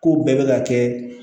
Ko bɛɛ bɛ ka kɛ